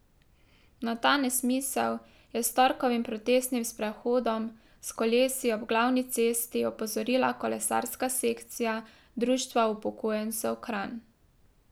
Na ta nesmisel je s torkovim protestnim sprehodom s kolesi ob glavni cesti opozorila kolesarska sekcija Društva upokojencev Kranj.